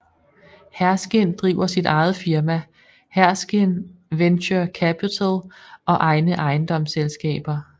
Herskind driver sit eget firma Herskind Venture Capital og egne ejendomsselskaber